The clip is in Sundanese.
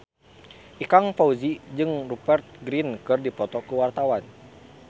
Ikang Fawzi jeung Rupert Grin keur dipoto ku wartawan